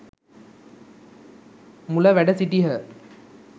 මුල වැඩ සිටියහ.